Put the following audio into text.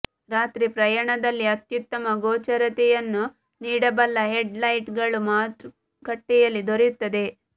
ರಾತ್ರಿ ಪಯಣದಲ್ಲಿ ಅತ್ಯುತ್ತಮ ಗೋಚರತೆಯನ್ನು ನೀಡಬಲ್ಲ ಹೆಡ್ ಲೈಟ್ ಗಳು ಮಾರುಕಟ್ಟೆಯಲ್ಲಿ ದೊರೆಯುತ್ತದೆ